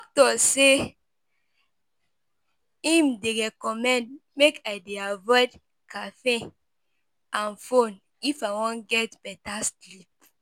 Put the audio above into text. My doctor say im dey recommend make I dey avoide caffeine and phone if I wan get better sleep.